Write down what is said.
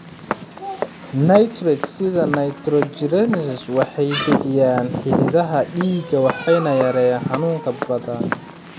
Nitrates, sida nitroglycerin, waxay dejiyaan xididdada dhiigga waxayna yareeyaan xanuunka xabadka.